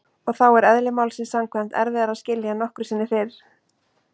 Og þá er- eðli málsins samkvæmt- erfiðara að skilja en nokkru sinni fyrr.